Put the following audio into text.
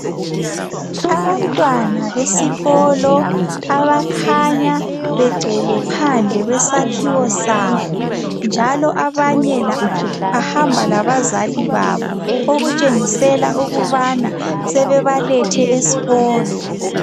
Abantwana besikolo abakhanya begcwele phandle kwesakhiwo sabo. Njalo abanye bahamba labazali babo okutshengisela ukubana sebebalethe esikolo.